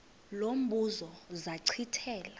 lo mbuzo zachithela